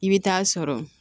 I bɛ taa sɔrɔ